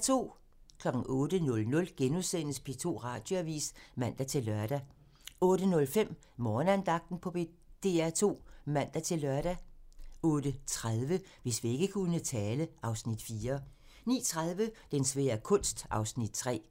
08:00: P2 Radioavis *(man-lør) 08:05: Morgenandagten på DR2 (man-lør) 08:30: Hvis vægge kunne tale (Afs. 4) 09:30: Den svære kunst (Afs. 3)